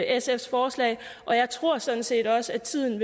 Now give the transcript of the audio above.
sfs forslag og jeg tror sådan set også at tiden